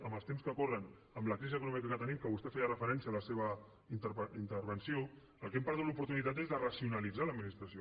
amb els temps que corren amb la crisi econòmica que tenim que vostè hi feia referència a la seva intervenció del que hem perdut l’oportunitat és de racionalitzar l’administració